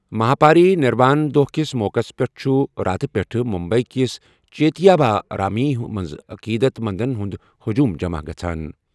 مہاپاری نروان دۄہ کِس موقعس پٮ۪ٹھ چھُ راتھ پٮ۪ٹھٕ ممبئی کِس چیتیا بھارامی منٛز عقیدت مندَن ہُنٛد ہجوم جمع گژھان۔